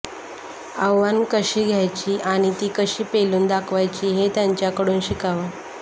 आव्हानं कशी घ्यायची आणि ती कशी पेलून दाखवायची हे त्यांच्याकडून शिकावं